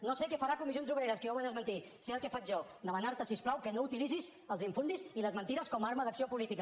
no sé què farà comissions obreres que ja ho va desmentir sé el que faig jo demanar te si us plau que no utilitzis els infundis i les mentides com a arma d’acció política